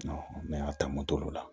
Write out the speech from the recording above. ne y'a ta moto la